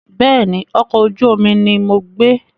Bẹ́ẹ̀ni, ọkọ̀ ojú omi ni mo gbé.